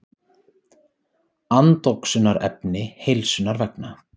Andoxunarefni heilsunnar vegna.